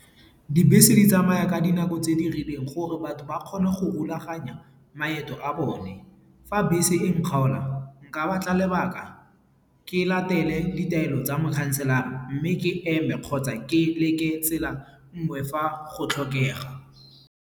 Dibese di tsamaya ka dinako tse di rileng gore batho ba kgone go rulaganya maeto a bone. Fa bese e nkgaola, nka batla lebaka ke latele ditaelo tsa mokhanselara mme ke eme kgotsa ke leke tsela nngwe fa go tlhokega.